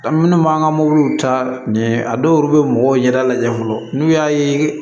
Minnu b'an ka mobiliw taa ɲɛ a dɔw bɛ mɔgɔw ɲɛda lajɛ fɔlɔ n'u y'a ye